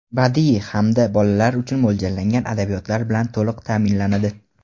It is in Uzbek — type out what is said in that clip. badiiy hamda bolalar uchun mo‘ljallangan adabiyotlar bilan to‘liq ta’minlanadi.